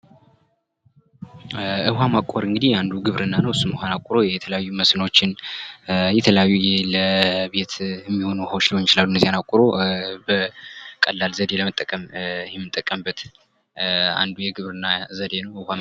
ውሃ ማቆር እንግዲህ አንዱ ግብርና ነው እሱም ውሃን አቁሮ የተለያዩ መስኖዎችን የተለያዩ ለቤት የሚሆኑ ውሃዎች ሊሆኑ ይችላሉ እነዚያን አቁሮ በቀላል ዘዴ ለመጠቀም የምንጠቀምበት አንዱ የግብርና ዘዴ ነው።